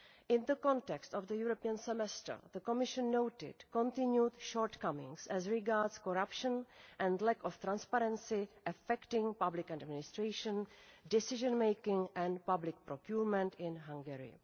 In the context of the European Semester, the Commission noted continued shortcomings as regards corruption and lack of transparency affecting public administration, decision making and public procurement in Hungary.